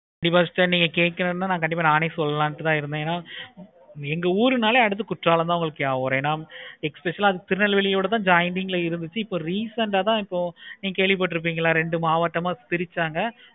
first நீங்க கேட்குறீங்கனா நாங்களே சொல்லலாம்னு தான் இருந்தேன். எங்க ஓருநாளே அடுத்து கோடலாம் தான் ஏன especially ஆஹ் திருநெல்வேலி ஓட joining ல இருந்துச்சி. இப்போ recent ஆஹ் தான் இப்போ நீங்க கேள்வி பட்டு இருப்பிங்களா ரெண்டு maavattam ஆஹ் பிரிச்சிருப்பாங்க